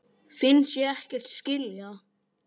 Finnst ég ekkert skilja.